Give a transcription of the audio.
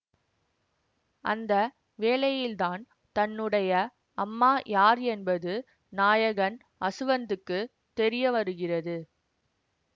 அந்த வேளையில்தான் தன்னுடைய அம்மா யார் என்பது நாயகன் அசுவந்துக்கு தெரிய வருகிறது